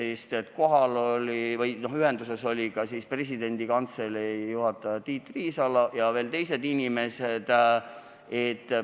Seal osalesid ka presidendi kantselei direktor Tiit Riisalo ja veel teised inimesed kantseleist.